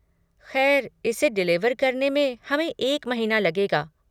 खैर, इसे डिलीवर करने में हमें एक महीना लगेगा।